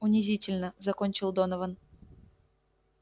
унизительно закончил донован